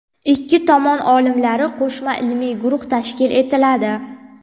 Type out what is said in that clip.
Ikki tomon olimlari qo‘shma ilmiy guruhi tashkil etiladi.